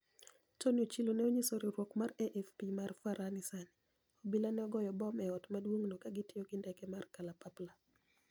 Toniy Ochilo ni e oniyiso riwruok mar AFP mar FaraniSaa nii, obila ni e ogoyo bom e ot maduonig'no ka gitiyo gi nidege mar kalapapla.